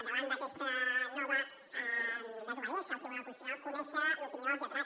davant d’aquesta nova desobediència al tribunal constitucional conèixer l’opinió dels lletrats